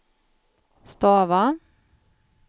stava